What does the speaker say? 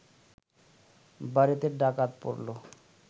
বাড়িতে ডাকাত পড়ল